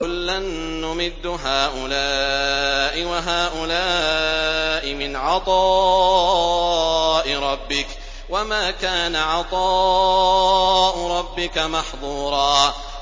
كُلًّا نُّمِدُّ هَٰؤُلَاءِ وَهَٰؤُلَاءِ مِنْ عَطَاءِ رَبِّكَ ۚ وَمَا كَانَ عَطَاءُ رَبِّكَ مَحْظُورًا